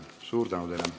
Suur tänu teile!